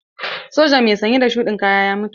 Sojan mai sanye da shuɗin kaya ya mutu.